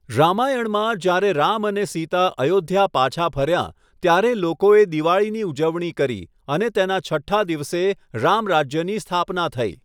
રામાયણમાં, જ્યારે રામ અને સીતા અયોધ્યા પાછાં ફર્યા, ત્યારે લોકોએ દીવાળીની ઉજવણી કરી, અને તેના છઠ્ઠા દિવસે, રામરાજ્યની સ્થાપના થઈ.